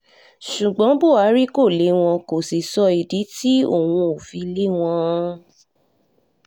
ṣùgbọ́n buhari kò le wọ́n kó sì sọ ìdí tí òun ó fi lé wọn